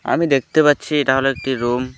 আমি দেখতে পাচ্ছি এটা হলো একটি রুম ।